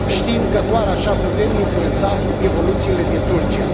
Știm că doar așa putem influența evoluțiile din Turcia.